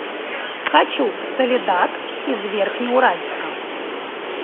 хочу в соледад из верхнеуральска